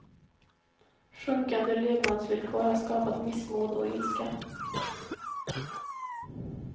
Sjunkande levnadsvillkor har skapat missmod och ilska.